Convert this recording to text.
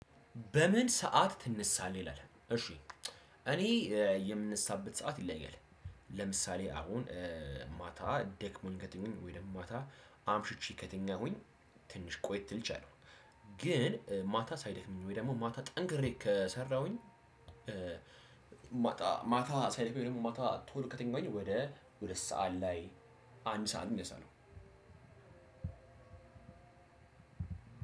በምን ሰዓት ትነሳለህ? ይላል እሺ እኔ የምነሳበት ሰዓት ይለያል። ለምሳሌ አሁን ማታ ደክሞኝ ከትኛውኝ ወይም ማታ አምሽቼ ከተኛሁኝ ትንሽ ቆየት ልል እችላለሁ። ግን ማታ ሳይደክመኝ ወይ ደግሞ ማታ ጠንክሬ ከሰራሁኝ ማታ ማታ ሳይደክመኝ ወይም ደግሞ ማታ ቶሎ ከተኛሁኝ ወደ ሁለት ሰዓት ላይ አንድ ሰዓት እነሳለሁ።